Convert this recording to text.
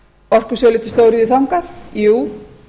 orkusölu til stóriðju þangað jú